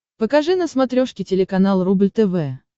покажи на смотрешке телеканал рубль тв